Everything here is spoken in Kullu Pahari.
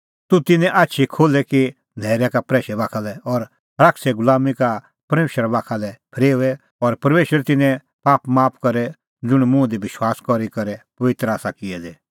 तूह तिन्नें आछी खोल्हे कि न्हैरै का प्रैशै बाखा लै और शैताने गुलामीं का परमेशरा बाखा लै फरेओए और परमेशर तिन्नें पाप माफ करे ज़ुंण मुंह दी विश्वास करी करै पबित्र आसा किऐ दै